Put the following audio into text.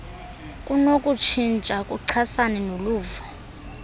kunokutshintsha kuchasene noluvo